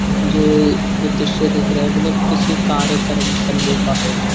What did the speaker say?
जो द्रिश्य दिख रहा है मतलब किसी कार्य कर्म करने का हो रहा है।